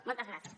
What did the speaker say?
moltes gràcies